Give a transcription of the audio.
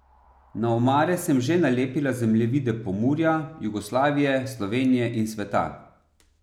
Na omare sem že nalepila zemljevide Pomurja, Jugoslavije, Slovenije in sveta.